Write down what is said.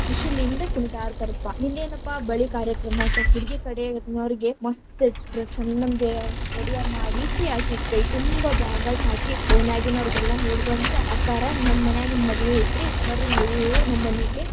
ಖುಷಿಲಿಂದ ಕುಣಿದಾಡತಾರಪ್ಪಾ, ಇನ್ನೇನಪ್ಪಾ ಬಳಿ ಕಾರ್ಯಕ್ರಮ ಅಂತಾ ಹುಡಗಿ ಕಡೆನವ್ರೀಗೆ ಮಸ್ತ್‌ dress ಛಂದಂಗೆ ready ಆಗಿ, ಮಾಡಿಸಿ ಅಕಿಗ್ ಕೈ ತುಂಬಾ bangles ಹಾಕಿ ಓನ್ಯಾಗಿನವ್ರಗೆಲ್ಲಾ ಹೇಳಬಂದ ಅಕ್ಕಾರ ನಮ್ ಮನ್ಯಾಗ ಹಿಂಗ್‌ ಮದ್ವಿ ಐತ್ರಿ ಬರ್ರೀ ನೀವು ನಮ್ಮನೀಗೆ.